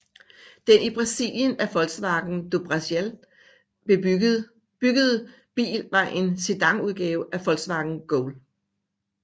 Den i Brasilien af Volkswagen do Brasil byggede bil var en sedanudgave af Volkswagen Gol